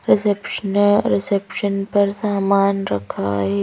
Reception reception पर सामान रखा है।